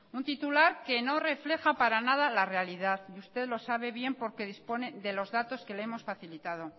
un titular que no refleja para nada la realidad y usted lo sabe bien porque dispone de los datos que le hemos facilitado